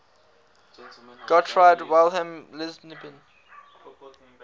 gottfried wilhelm leibniz